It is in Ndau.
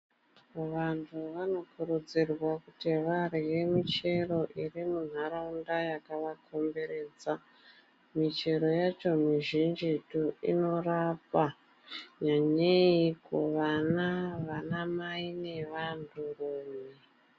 Vanthu vanokurudzirwa kuti varye michero iri munharaunda yakavakomberedza michero yacho mizhinjitu inorapa nyanyei kuvana vanamai nevanhurume.